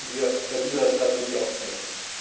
An sie sollten wir bei dieser Strategie auch denken.